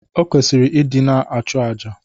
O kwesịrị ịdị na-achụ àjà